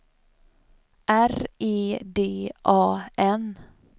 R E D A N